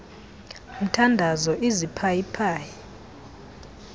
mthandazo iziphayi phayi